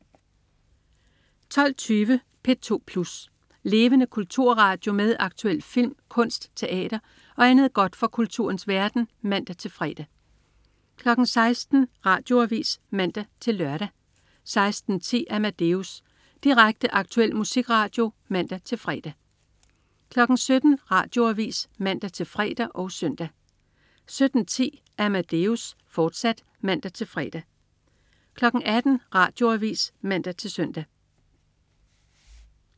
12.20 P2 Plus. Levende kulturradio med aktuel film, kunst, teater og andet godt fra kulturens verden (man-fre) 16.00 Radioavis (man-lør) 16.10 Amadeus. Direkte, aktuel musikradio (man-fre) 17.00 Radioavis (man-fre og søn) 17.10 Amadeus, fortsat (man-fre) 18.00 Radioavis (man-søn)